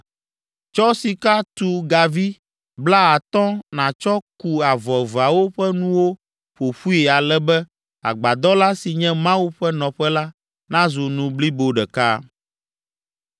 Tsɔ sika tu gavi blaatɔ̃ nàtsɔ ku avɔ eveawo ƒe nuwo ƒo ƒui ale be agbadɔ la, si nye Mawu ƒe nɔƒe la, nazu nu blibo ɖeka.